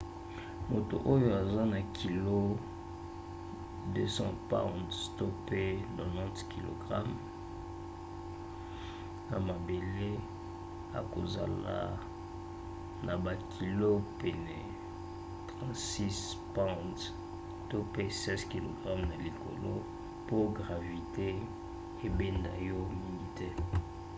moto oyo aza na kilo 200 pounds 90kg na mabele akozala na bakilo pene ya 36 pounds 16kg na likolo. mpo gravite ebenda yo mingi te